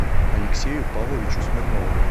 алексею павловичу смирнову